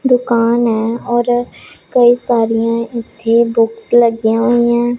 ਦੁਕਾਨ ਐ ਔਰ ਕਈ ਸਾਰੀਆਂ ਇਥੇ ਬੁੱਕ ਲੱਗੀਆਂ ਹੋਈਆਂ।